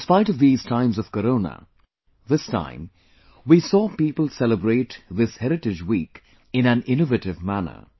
In spite of these times of corona, this time, we saw people celebrate this Heritage week in an innovative manner